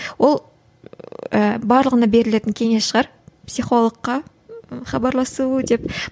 ол ііі барлығына берілетін кеңес шығар психологқа хабарласу деп